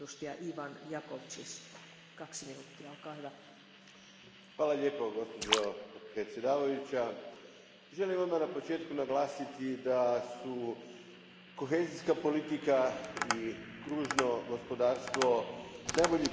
Gospođo predsjedavajuća, želim odmah na početku naglasiti da su kohezijska politika i kružno gospodarstvo najbolji primjeri kako neke politike idu ruku pod ruku, kako su